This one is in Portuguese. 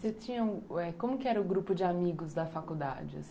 Você tinha, como que era o grupo de amigos da faculdade, assim?